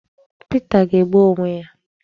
Pita ga-egbu onwe ya